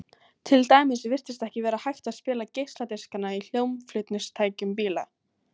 til dæmis virtist ekki vera hægt að spila geisladiskana í hljómflutningstækjum bíla